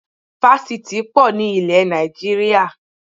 Fásitì í pọ̀ ní ilẹ̀ Nàìjíríà